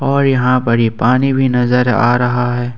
और यहां बरी पानी भी नजर आ रहा है।